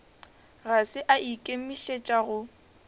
ga se a ikemišetša go